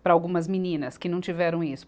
para algumas meninas que não tiveram isso.